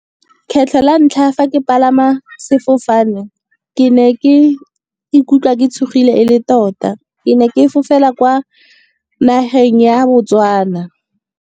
Kgetlho la ntlha fa ke palama sefofane, ke ne ke ikutlwa ke tshogile e le tota. Ke ne ke fofela kwa nageng ya Botswana.